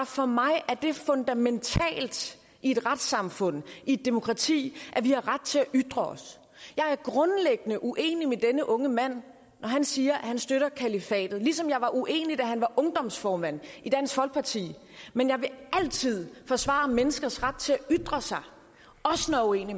for mig er det fundamentalt i et retssamfund i et demokrati at vi har ret til at ytre os jeg er grundlæggende uenig med denne unge mand når han siger at han støtter kalifatet ligesom jeg var uenig da han var ungdomsformand i dansk folkeparti men jeg vil altid forsvare menneskers ret til at ytre sig også når jeg